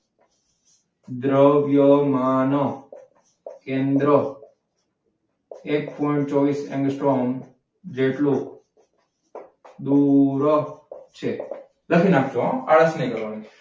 દ્રવ્યમાન કેન્દ્ર એક પોઈન્ટ ચોવીસ એંગસ્ટ્રોમ જેટલું દૂર છે. લખી નાખજો હો આળસ નથી કરવાની.